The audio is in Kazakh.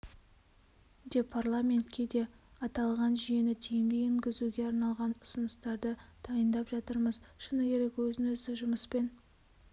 де парламентке де аталған жүйені тиімді енгізуге арналған ұсыныстарды дайындап жатырмыз шыны керек өзін-өзі жұмыспен